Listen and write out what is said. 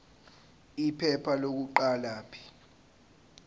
iphepha lokuqala p